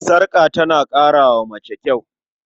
Sarƙa tana ƙara wa mace kyau.